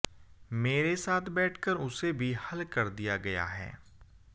मेरे साथ बैठकर उसे भी हल कर दिया गया है